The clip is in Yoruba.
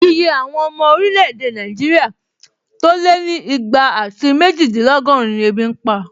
Iye àwọn ọmọ orílẹ̀-èdè Nàìjíríà tó lé ní ìgbà àti méjìdínlọ́gọ́run ni ebi n pa